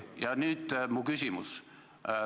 Ja nüüd mu küsimus.